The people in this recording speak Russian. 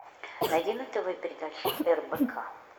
найди на тв передачу рбк